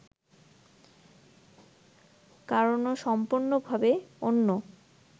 কারণও সম্পূর্ণভাবে অন্য